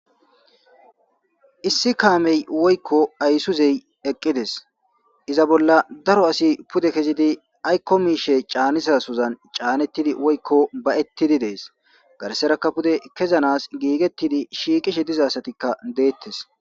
issi kaamey woykko aysuzey eqqides iza bolla daro asi pude kezidi aykko miishe caanisasuzan caanettidi woykko bayettidi dees garserakka pude kezanas giigettidi shiiqishe dizasatikka deettes